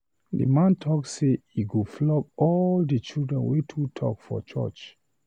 The man talk say he go flog all the children wey too talk for church